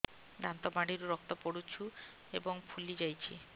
ଦାନ୍ତ ମାଢ଼ିରୁ ରକ୍ତ ପଡୁଛୁ ଏବଂ ଫୁଲି ଯାଇଛି